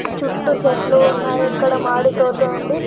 చుట్టూ చెట్లు ఉన్నాయి ఇక్కడ మాడి తోత ఉంది.